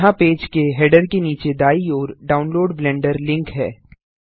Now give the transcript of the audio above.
यहाँ पेज के हैडर के नीचे दायीं ओर डाउनलोड ब्लेंडर लिंक है